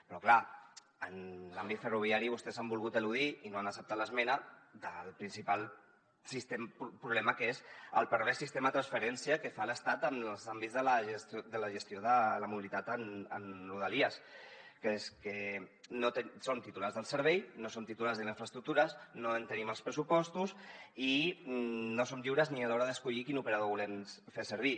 però clar en l’àmbit ferroviari vostès han volgut eludir i no han acceptat l’esmena del principal problema que és el pervers sistema de transferència que fa l’estat en els àmbits de la gestió de la mobilitat en rodalies que és que som titulars del servei no som titulars de les infraestructures no en tenim els pressupostos i no som lliures ni a l’hora d’escollir quin operador volem fer servir